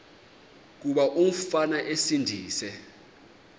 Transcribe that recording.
kuba umfana esindise